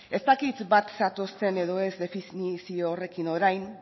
ez dakit bat zatozten edo ez definizio horrekin orain